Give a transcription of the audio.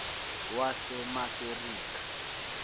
wasemaserikha